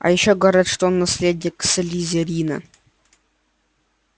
а ещё говорят что он наследник слизерина